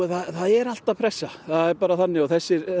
það er alltaf pressa það er bara þannig þessir